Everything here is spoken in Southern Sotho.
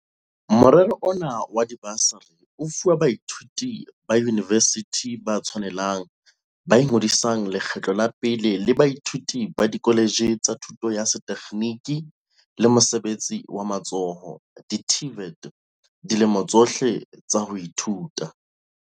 Morero ona wa dibasari o fuwa baithuti ba yunivesithi ba tshwanelang ba ingodisang lekgetlo la pele le baithuti ba dikholetjhe tsa thuto ya sethe kgeniki le mosebetsi wa matsoho, di-TVET, dilemong tsohle tsa ho ithuta.